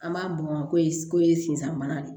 An b'a bɔn ko ye ko ye sisan mana de